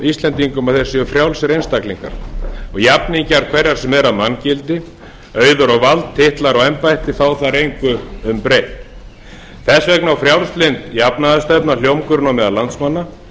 íslendingum að þeir séu frjálsir einstaklingar og jafningjar hverra sem er að manngildi auður og vald titlar og embætti fá þar engu um breytt þess vegna á frjálslynd jafnaðarstefna hljómgrunn á meðal landsmanna